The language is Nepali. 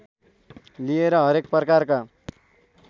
लिएर हरेक प्रकारका